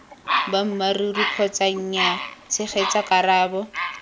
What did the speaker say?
boammaaruri kgotsa nyaa tshegetsa karabo